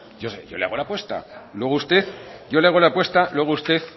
yo le hago la apuesta luego usted